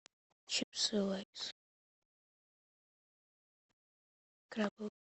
чипсы лейс крабовые